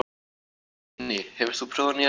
Teitný, hefur þú prófað nýja leikinn?